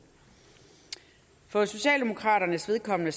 for socialdemokraternes vedkommende